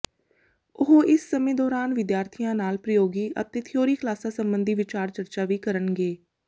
ਉਹ ਇਸ ਸਮੇਂ ਦੌਰਾਨ ਵਿਦਿਆਰਥੀਆਂ ਨਾਲ ਪ੍ਰਯੋਗੀ ਅਤੇ ਥਿਊਰੀ ਕਲਾਸਾਂ ਸਬੰਧੀ ਵਿਚਾਰ ਚਰਚਾ ਵੀ ਕਰਨਗੇ